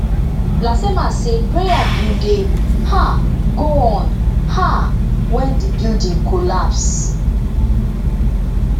lasema say prayer bin dey um go on um wen di building collapse